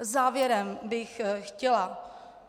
Závěrem bych chtěla